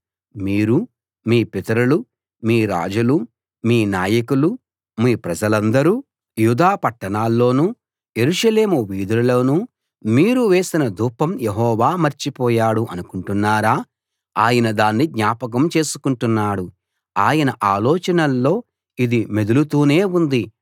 మీరూ మీ పితరులూ మీ రాజులూ మీ నాయకులూ మీ ప్రజలందరూ యూదా పట్టణాల్లోనూ యెరూషలేము వీధులలోనూ మీరు వేసిన ధూపం యెహోవా మర్చిపోయాడు అనుకుంటున్నారా ఆయన దాన్ని జ్ఞాపకం చేసుకుంటున్నాడు ఆయన ఆలోచనల్లో ఇది మెదులుతూనే ఉంది